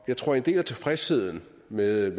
jeg tror at en del af tilfredsheden med